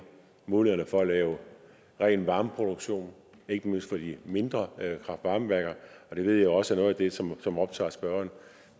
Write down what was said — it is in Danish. mulighederne for at lave ren varmeproduktion ikke mindst for de mindre kraft varme værker det ved jeg også er noget af det som som optager spørgeren